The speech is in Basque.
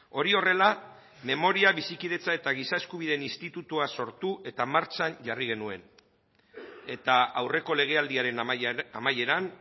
hori horrela memoria bizikidetza eta giza eskubideen institutua sortu eta martxan jarri genuen eta aurreko legealdiaren amaieran